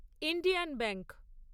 Indian bank